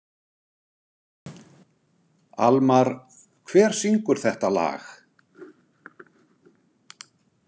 Almar, hver syngur þetta lag?